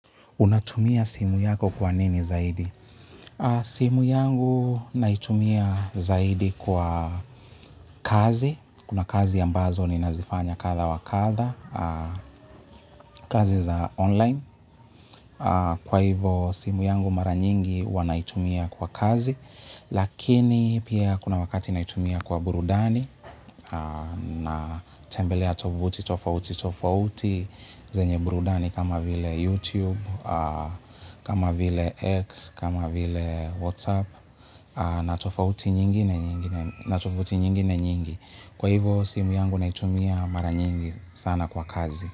Unatumia simu yako kwa nini zaidi? Simu yangu naitumia zaidi kwa kazi. Kuna kazi ambazo ni nazifanya katha wa katha. Kazi za online. Kwa hivo simu yangu mara nyingi uanaitumia kwa kazi. Lakini pia kuna wakati naitumia kwa burudani. Tembelea tovuti, tofauti, tofauti. Zenye burudani kama vile YouTube. Kama vile X, kama vile WhatsApp natofauti nyingine nyingi kwa hivo simu yangu naitumia mara nyingi sana kwa kazi.